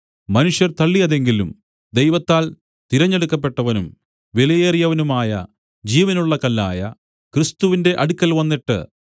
മനുഷ്യർ തള്ളിയതെങ്കിലും ദൈവത്താൽ തിരഞ്ഞെടുക്കപ്പെട്ടവനും വിലയേറിയവനുമായ ജീവനുള്ള കല്ലായ ക്രിസ്തുവിന്റെ അടുക്കൽ വന്നിട്ട്